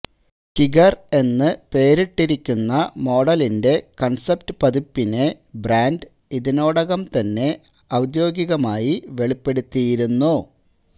Kiger എന്നു പേരിട്ടിരിക്കുന്ന മോഡലിന്റെ കണ്സെപ്റ്റ് പതിപ്പിനെ ബ്രാന്ഡ് ഇതിനോടകം തന്നെ ഔദ്യോഗികമായി വെളിപ്പെടുത്തിയിരുന്നു